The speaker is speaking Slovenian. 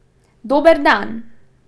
Dober dan!